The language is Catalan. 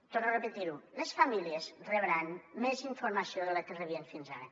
torno repetir ho les famílies rebran més informació de la que rebien fins ara